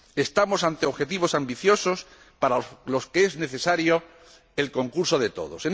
Estamos ante objetivos ambiciosos, para los que es necesario el concurso de todos.